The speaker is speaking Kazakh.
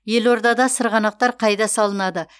елордада сырғанақтар қайда салынады